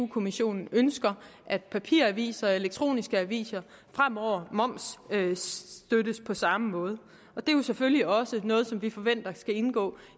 kommissionen ønsker at papiraviser og elektroniske aviser fremover momsstøttes på samme måde det er jo selvfølgelig også noget som vi forventer skal indgå